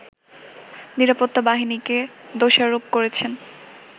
নিরাপত্তা বাহিনীকে দোষারোপ করেছেন